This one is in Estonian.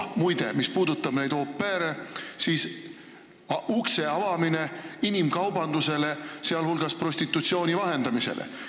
Muide, mis puudutab au pair'e, siis on tegu ukse avamisega ka inimkaubandusele, sh prostitutsiooni vahendamisele.